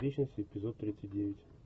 вечность эпизод тридцать девять